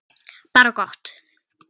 Bara gott.